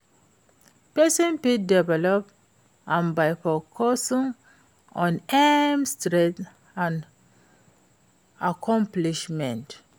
Pesin fit develop am by focusing on im strengths and accomplishments.